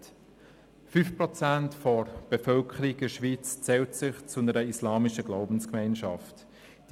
5 Prozent der Bevölkerung der Schweiz zählt sich einer islamischen Glaubensgemeinschaft zugehörig.